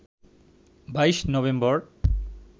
২২ November